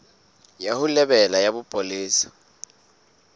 ya ho lebela ya bopolesa